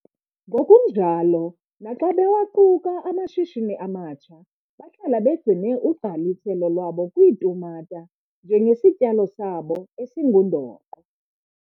Ngokunjalo, naxa bewaquka amashishini amatsha bahlala begcine ugqaliselo lwabo kwiitumata njengesityalo sabo esingundoqo.